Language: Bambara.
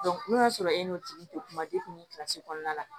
n'o y'a sɔrɔ e n'o tigi tɛ kuma kɔnɔna la